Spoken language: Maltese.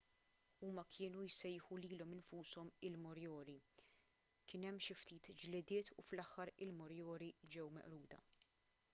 huma kienu jsejħu lilhom infushom il-moriori kien hemm xi ftit ġlidiet u fl-aħħar il-moriori ġew meqruda